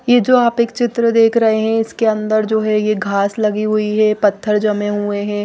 ये जो आप एक चित्र देख रहे हैं इसके अंदर जो है ये घास लगी हुई है पत्थर जमे हुए हैं।